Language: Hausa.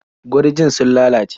Gurjin sun lalace.